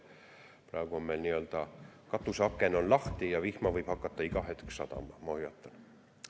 Praegu on meil nii-öelda katuseaken lahti ja vihma võib hakata iga hetk sadama, ma hoiatan.